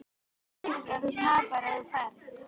Veist að þú tapar ef þú ferð.